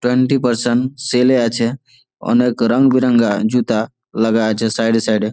Twenty percent sale এ আছে অনেক রং বিরাঙা জুতা লাগা আছে সাইড এ সাইড -এ।